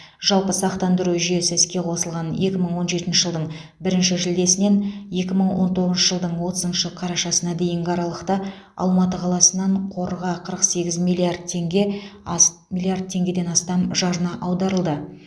жалпы сақтандыру жүйесі іске қосылған екі мың он жетінші жылдың бірінші шілдесінен екі мың он тоғызыншы жылдың отызыншы қарашасына дейінгі аралықта алматы қаласынан қорға қырық сегіз миллиард теңге ас миллиард теңгеден астам жарна аударылды